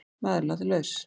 Maðurinn látinn laus